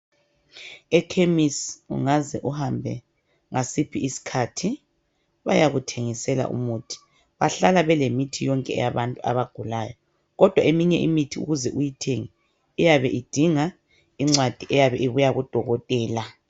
Ekhemisi ungaze uhambe ngasiphi isikhathi bayakuthengisela umuthi bahlala belemithi yonke yabantu abagulayo kodwa eminye imithi ukuze uyithenge iyabe idinga incwadi eyabe ibuya kudokotela.